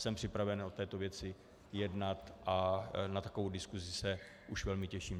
Jsem připraven o této věci jednat a na takovou diskusi už se velmi těším.